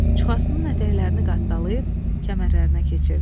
Çuxasının ətəklərini qattalayıb kəmərlərinə keçirdi.